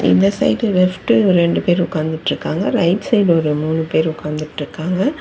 இந்த side left ரெண்டு பேர் உக்காந்துட்ருக்காங்க ரைட் சைட்ல ஒரு மூணு பேர் உக்காந்துட்ருக்காங்க.